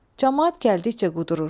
Camaat gəldikcə qudurur.